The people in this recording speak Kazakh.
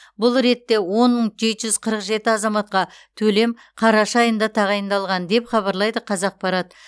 бұл ретте он мың жеті жүз қырық жеті азаматқа төлем қараша айында тағайындалған деп хабарлайды қазақпарат